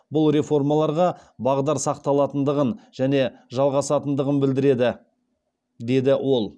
бұл реформаларға бағдар сақталатындығын және жалғасатындығын білдіреді деді ол